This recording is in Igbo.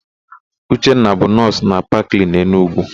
Uchenna bụ nọọsụ na Paklen, Enugwu.